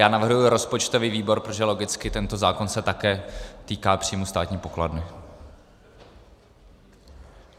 Já navrhuji rozpočtový výbor, protože logicky tento zákon se také týká příjmů státní pokladny.